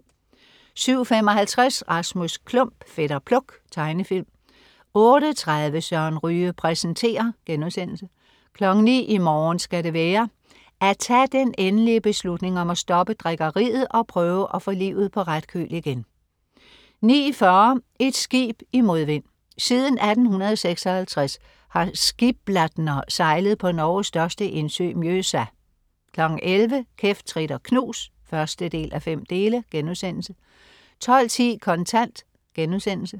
07.55 Rasmus Klump. Fætter Pluk. Tegnefilm 08.30 Søren Ryge præsenterer* 09.00 I morgen skal det være. At tage den endelige beslutning om at stoppe drikkeriet og prøve at få livet på ret køl igen 09.40 Et skib i modvind. Siden 1856 har "Skibladner" sejlet på Norges største indsø Mjøsa 11.00 Kæft, trit og knus 1:5* 12.10 Kontant*